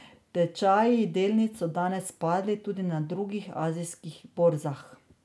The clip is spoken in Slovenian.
Tečaji delnic so danes padli tudi na drugih azijskih borzah.